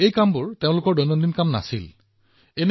তেওঁলোকে কৰি থকা কামটো তেওঁলোকৰ নিয়মীয়া কামৰ অংশ নহয়